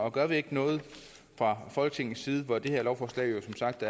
og gør vi ikke noget fra folketingets side og det her lovforslag er som sagt